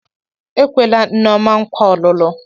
E kwela Nneoma nkwa ọlụlụ.